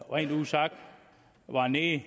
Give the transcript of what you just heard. rent ud sagt var nede